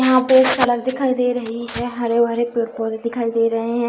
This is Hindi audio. यहाँ पे एक सड़क दिखाई दे रही है हरे-भरे पेड़-पोधे दिखाई दे रहे हैं।